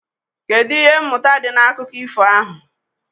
Kedụ ihe mmụta dị n'akụkọ ifo ahụ?